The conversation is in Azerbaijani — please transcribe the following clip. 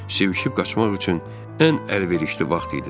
Sıvışıb qaçmaq üçün ən əlverişli vaxt idi.